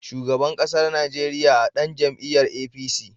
Shugaban ƙasar Najeriya a ɗan jam'iyar APC.